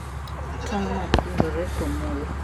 tongno kunjore komul.